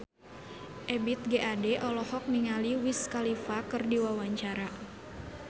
Ebith G. Ade olohok ningali Wiz Khalifa keur diwawancara